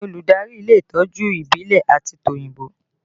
Ta ni olùdarí ilé ìtọ́jú ìbílẹ̀ àti tòyìnbó?